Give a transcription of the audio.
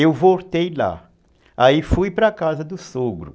Eu voltei lá, aí fui para a casa do sogro.